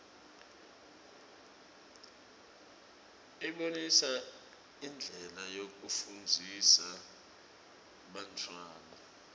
ibonisa indlela yekufundzisa bantfwana